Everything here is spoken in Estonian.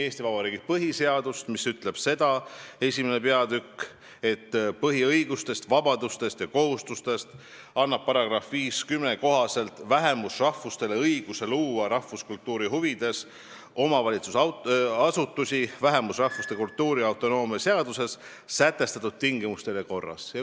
Eesti Vabariigi põhiseaduse II peatüki "Põhiõigused, vabadused ja kohustused" § 50 annab vähemusrahvustele õiguse luua rahvuskultuuri huvides omavalitsusasutusi vähemusrahvuste kultuurautonoomia seaduses sätestatud tingimustel ja korras.